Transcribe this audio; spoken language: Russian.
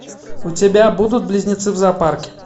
у тебя будут близнецы в зоопарке